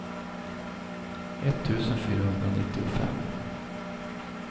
etttusen fyrahundranittiofem